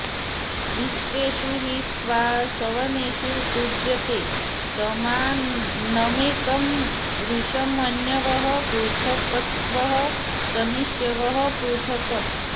विश्वेषु हि त्वा सवनेषु तुञ्जते समानमेकं वृषमण्यवः पृथक्स्वः सनिष्यवः पृथक्